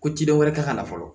Ko ci dɔ wɛrɛ ka na fɔlɔ